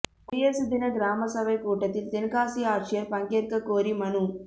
குடியரசு தின கிராமசபை கூட்டத்தில் தென்காசி ஆட்சியா் பங்கேற்க கோரி மனு